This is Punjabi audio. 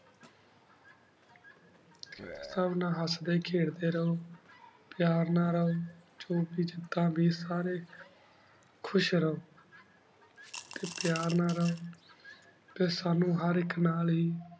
ਸਬ ਨਾਲ ਹਸਦੇ ਖੇਡਦੇ ਰਹੁ ਪਯਾਰ ਨਾਲ ਰਹੁ ਖੁਸ਼ ਰਹੁ ਟੀ ਪਯਾਰ ਨਾਲ ਰਹੁ ਟੀ ਸਾਨੂ ਹਰ ਆਇਕ ਨਾਲ ਹੇ